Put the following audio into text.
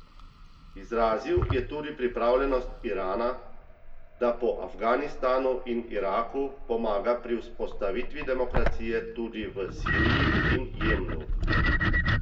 Izrazil je tudi pripravljenost Irana, da po Afganistanu in Iraku pomaga pri vzpostavitvi demokracije tudi v Siriji in Jemnu.